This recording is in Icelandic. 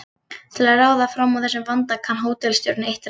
Til að ráða fram úr þessum vanda kann hótelstjórinn eitt ráð.